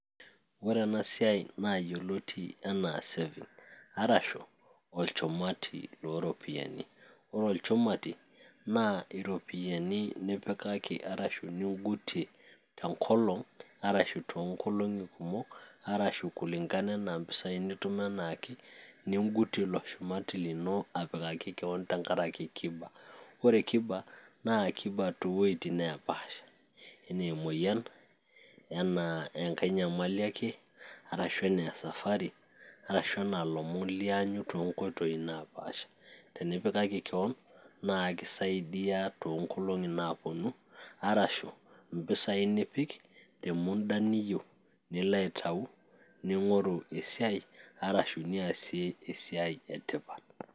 ore ena siai naa yioloti enaa saving arashu olchumati looropiyiani ore olchumati naa iropiyiani nipikaki arashu ningutie tenkolong arashu toonkolong'i kumok arashu kulingana anaa impisai nitum enaake ningutie ilo shumati lino apikaki kewon tenkaraki kiba ore kiba, naa kiba toowuejitin neepasha enaa emoyian enaa enkay nyamali ake arashu enaa e safari arashu enaa ilomon lianyu toonkoitoi naapasha tenipikaki kewon naa kisaidiya toonkolong'i naaponu arashu impisai nipik te munda niyieu nilo aitau ning'oru esiai arashu niasie esiai etipat.